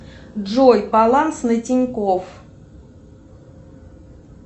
джой баланс на тинькофф